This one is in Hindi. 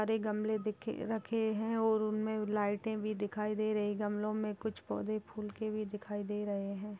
सारे गमले दिख रखे हैं और उनमे लाइटे भी दिखाई दे रही हैं गमलो में कुछ पोधे फूल के भी दिखाई दे रहे हैं।